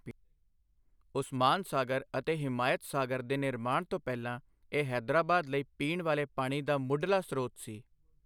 ਉਸਮਾਨ ਸਾਗਰ ਅਤੇ ਹਿਮਾਇਤ ਸਾਗਰ ਦੇ ਨਿਰਮਾਣ ਤੋਂ ਪਹਿਲਾਂ ਇਹ ਹੈਦਰਾਬਾਦ ਲਈ ਪੀਣ ਵਾਲੇ ਪਾਣੀ ਦਾ ਮੁੱਢਲਾ ਸਰੋਤ ਸੀ।